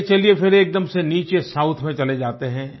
आइये चलिए फिर एकदम से नीचे साउथ में चले जाते हैं